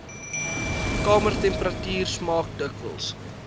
kamertemperatuur smaak dikwels